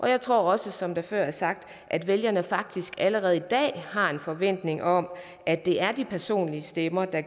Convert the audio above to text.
jeg tror også som der før er sagt at vælgerne faktisk allerede i dag har en forventning om at det er de personlige stemmer der